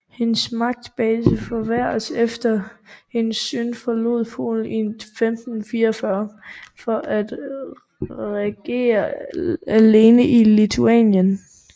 Hendes magtbase forværredes efter hendes søn forlod Polen i 1544 for at regere alene i Litauen